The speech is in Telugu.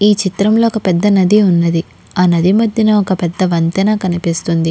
ఇ చిత్రం లో వక పెద్ద నది ఉనది అహ నది మధ్యలో వక పెద్ద వంతెన కనిపెస్తునది.